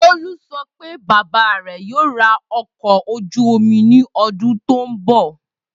Bolu sọ pe baba rẹ yoo ra ọkọ̀ ojú omi ni ọdun to nbọ.